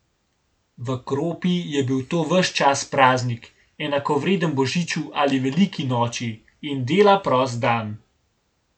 V Kropi je bil to ves čas praznik, enakovreden božiču ali veliki noči, in dela prost dan.